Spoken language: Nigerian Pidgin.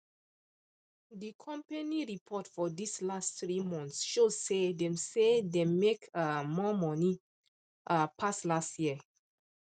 the company report for this last three months show say dem say dem make um more money um pass last year um